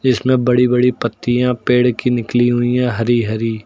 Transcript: इसमें बड़ी बड़ी पत्तियां पेड़ की निकली हुई है हरी हरी।